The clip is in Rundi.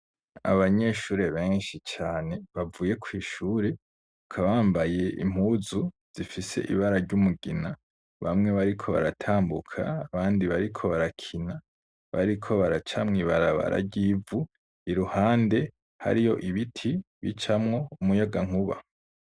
Abanyeshure benshi cane bavuye kw'ishure, bakaba bambaye impuzu zifise ibara ry'umugina, bamwe bariko baratambuka, abandi bariko barakina, bariko baraca mw'ibarababara ry'ivu, iruhande hariyo ibiti bicamwo umuyagankuba.